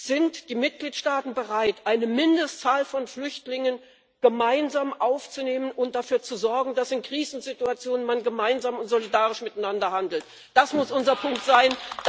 Sind die Mitgliedsstaaten bereit, eine Mindestzahl von Flüchtlingen gemeinsam aufzunehmen und dafür zu sorgen, dass man in Krisensituationen gemeinsam und solidarisch miteinander handelt? Das muss unser Punkt sein!